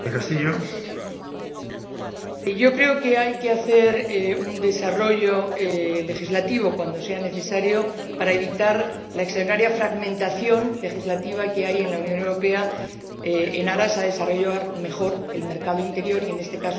Creo que hay que hacer un desarrollo legislativo, cuando sea necesario, para evitar la extraordinaria fragmentación legislativa que hay en la Unión Europea con el objetivo de desarrollar mejor el mercado interior y, en este caso, el mercado interior digital.